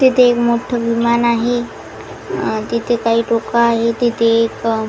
तेथे एक मोठं विमान आहे तेथे काही लोकं आहे तेथे एक --